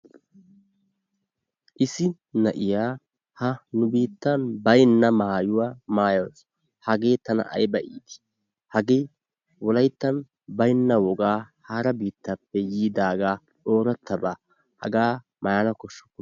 Issi na'iyaa ha nu biittan baynna maayuwaa maayaasu. Hagee tana ayba itii! Hagee wolayttan baynna wogaa hara bittaappe yiidagaa orattaabaa hagaa maayana kooshshukku.